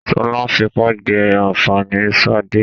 Sọlá ń fipá jẹ ànfàní ṣade.